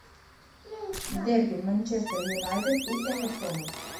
дерби манчестер юнайтед и эвертона